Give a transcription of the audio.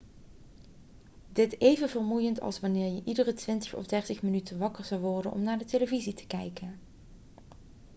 dit even vermoeiend als wanneer je iedere twintig of dertig minuten wakker zou worden om naar de televisie te kijken